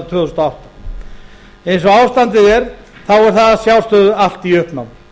og átta eins og ástandið er er það að sjálfsögðu allt í uppnámi